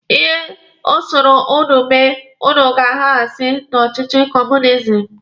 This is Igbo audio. Ihe ọ sọrọ ụnụ mee, ụnụ ga-agahasi na ọchịchị kọọmunizim.